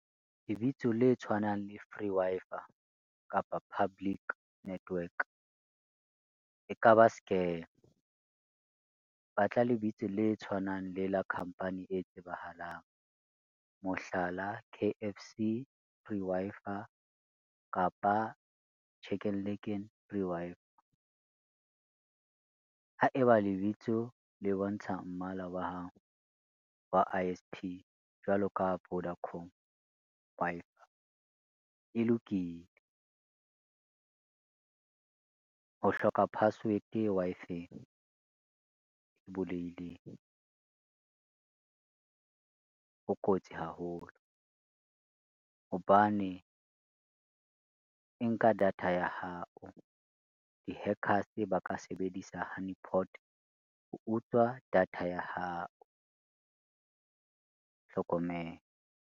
Lebitso le tshwanang le free Wi-Fi kapa public network, e ka ba scam. Ba tla lebitso le tshwanang le la company e tsebahalang, mohlala, K_F_C free Wi-Fi kapa Chicken Licken free Wi-Fi. Haeba lebitso le bontsha mmala wa I_S_P jwalo ka Vodacom Wi-Fi e lokile. Ho hloka password Wi-Fi-eng ho kotsi haholo hobane e nka data ya hao, di-hackers ba ka sebedisa honeyport ho utswa data ya hao hlokomela.